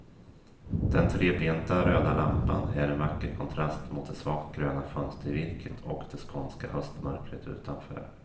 Den trebenta röda lampan är en vacker kontrast mot det svagt gröna fönstervirket och det skånska höstmörkret utanför.